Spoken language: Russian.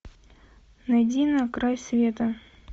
найди на край света